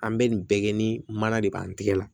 An bɛ nin bɛɛ kɛ ni mana de b'an tɛgɛ la